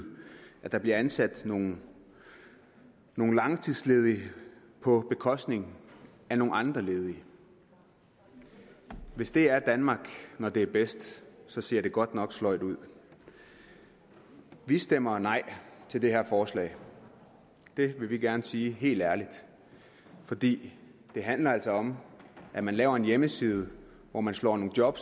at der bliver ansat nogle nogle langtidsledige på bekostning af nogle andre ledige hvis det er danmark når det er bedst så ser det godt nok sløjt ud vi stemmer nej til det her forslag det vil vi gerne sige helt ærligt for det handler altså om at man laver en hjemmeside hvor man slår nogle job